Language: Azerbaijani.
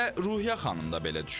Elə Ruhiyyə xanım da belə düşünür.